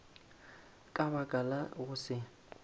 ka baka la go se